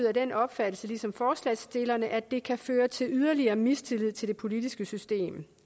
af den opfattelse ligesom forslagsstillerne at det kan føre til yderligere mistillid til det politiske system